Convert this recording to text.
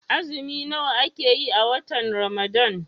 Azumi nawa ake yi a watan Ramadan?